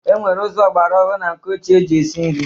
E nwere ụzọ ọgbara ọhụ na nke ochie eji esi nri.